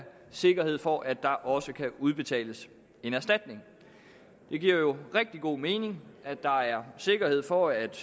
sikkerhed for at der også kan udbetales en erstatning det giver jo rigtig god mening at der er sikkerhed for at